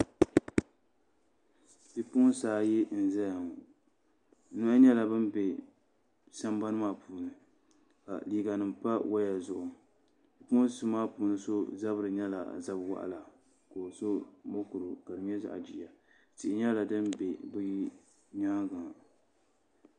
bipuɣinsi ayi n-zaya ŋɔ yino nyɛla ŋun be sambani maa puuni ka liiganima pa waya zuɣu bipuɣinsi maa puuni so zabiri nyɛla zab' waɣila ka o so murugu ka di nyɛ zaɣ' giya tihi nyɛla din be bɛ nyaaŋa